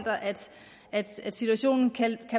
at man i situationen kan